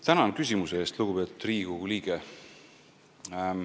Tänan küsimuse eest, lugupeetud Riigikogu liige!